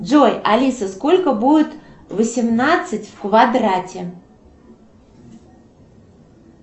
джой алиса сколько будет восемнадцать в квадрате